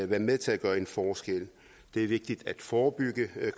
være med til at gøre en forskel det er vigtigt at forebygge